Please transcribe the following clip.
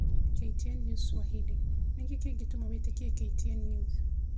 KTN News Swahili: Nĩkĩ kĩngĩtũma wĩtĩkie KTN News